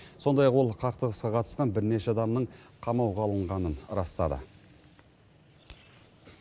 сондай ақ ол қақтығысқа қатысқан бірнеше адамның қамауға алынғанын растады